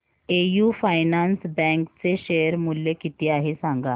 AU finance bank चे share मूल्य किती आहे सांगा